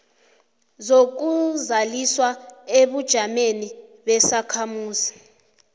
zokuzazisa ebujameni besakhamuzi